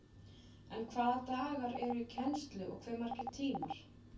En hvaða dagar eru í kennslu og hve margir tímar?